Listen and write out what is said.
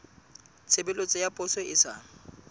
tshebeletso ya poso e sa